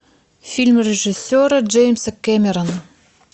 фильм режиссера джеймса кэмерона